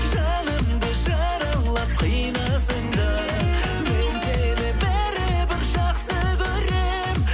жанымды жаралап қинасаң да мен сені бәрібір жақсы көрем